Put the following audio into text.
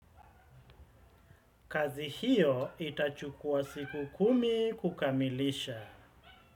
Kazi hiyo itachukua siku kumi kukamilisha.